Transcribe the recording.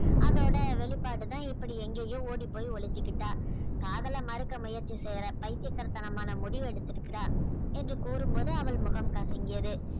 அதோட வெளிப்பாடுதான் இப்படி எங்கேயோ ஓடிப்போய் ஒளிஞ்சுகிட்டா காதல மறக்க முயற்சி செய்யற பைத்தியக்காரத்தனமான முடிவெடுத்திருக்கிறா என்று கூறும்போது அவள் முகம் கசங்கியது